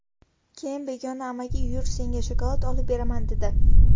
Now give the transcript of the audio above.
Keyin begona amaki ‘yur, senga shokolad olib beraman’, dedi.